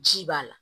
Ji b'a la